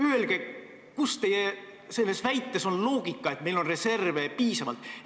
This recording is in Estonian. Öelge, kus on loogika selles teie väites, et meil on reserve piisavalt.